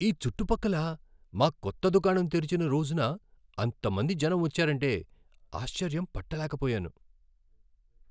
ఈ చుట్టుపక్కల మా కొత్త దుకాణం తెరిచిన రోజున అంతమంది జనం వచ్చారంటే ఆశ్చర్యం పట్టలేకపోయాను..